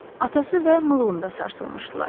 Atası və Mığonda sarsılmışdılar.